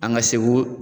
An ka segu